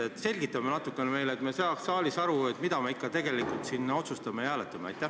Selgita natukene meile, et me saaks aru, mida me ikka tegelikult siin otsustame ja mille üle hääletame.